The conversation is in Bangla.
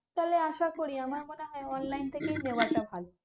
তাহলে আসা করি আমার মনে হয় online থেকেই নেওয়াটা ভালো।